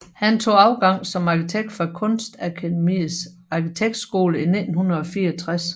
Han tog afgang som arkitekt fra Kunstakademiets Arkitektskole 1964